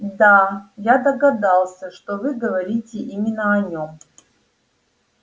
да я догадался что вы говорите именно о нем